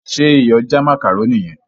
ṣe Iyọ̀ já macaroni yen?